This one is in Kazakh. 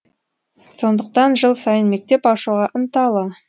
сондықтан жыл сайын мектеп ашуға ынталы